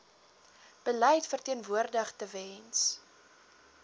beleid verteenwoordig tewens